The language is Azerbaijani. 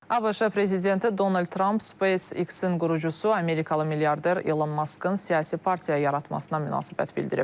ABŞ prezidenti Donald Trump SpaceX-in qurucusu, amerikalı milyarder Elon Maskın siyasi partiya yaratmasına münasibət bildirib.